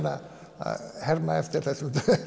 að herma eftir þessum